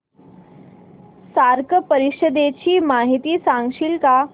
SAARC परिषदेची माहिती सांगशील का